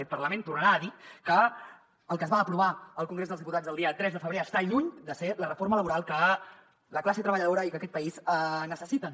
aquest parlament tornarà a dir que el que es va aprovar al congrés dels diputats el dia tres de febrer està lluny de ser la reforma laboral que la classe treballadora i que aquest país necessiten